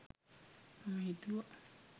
මම හිතුව